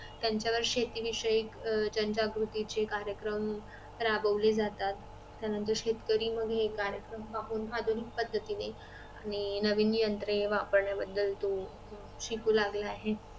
त्यांच्यावर शेती विषयक जनजागृती चे कार्यक्रम राबवले जातात त्यानंतर शेतकरी मग हे कार्यक्रम पाहून आधुनिक पद्धतीने आणि नवीन यंत्रे वापरण्या तो बदल शिकू लागला आहे